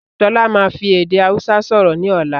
Sọlá máa fi èdè Hausa sọ̀rọ̀ ni ọ̀la